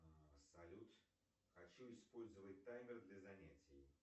салют хочу использовать таймер для занятий